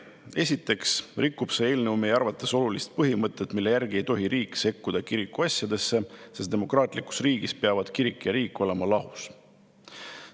Esiteks rikub see eelnõu meie arvates olulist põhimõtet, mille järgi ei tohi riik sekkuda kirikuasjadesse, sest demokraatlikus riigis peavad kirik ja riik olema lahus.